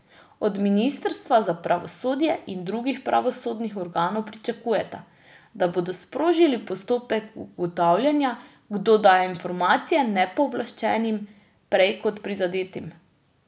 Od ministra za pravosodje in drugih pravosodnih organov pričakujeta, da bodo sprožili postopek ugotavljanja, kdo daje informacije nepooblaščenim prej kot prizadetim.